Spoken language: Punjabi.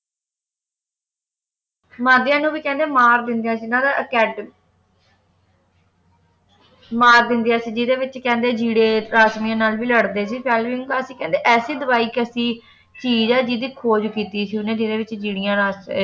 ਮਾਧਿਅਮ ਨੂੰ ਕਹਿੰਦੇ ਮਾਰ ਦਿੰਦਿਆਂ ਸੀ ਇਨ੍ਹਾਂ ਦਾ ਮਾਰ ਦਿੰਦੀ ਸੀ ਜਿਹੜੇ ਵਿਚ ਕਹਿੰਦੇ ਕੀੜੇ ਪ੍ਰਾਥਮਿਕੀ ਨਾਲ ਵੀ ਲੜਦੇ ਸੀਗੇ ਫੈਲਮਿੰਗ ਨੇ ਤਾਂ ਕਹਿੰਦੇ ਐਸੀ ਦਵਾਈ ਕੈਸੀ ਚੀਜ਼ ਹੈ ਜਿਸਦੀ ਖੋਜ ਕੀਤੀ ਸੀ ਓਹਨੇ ਜਿਸਦੇ ਵਿੱਚ ਜਿੰਨੀਆਂ ਵਾਸਤੇ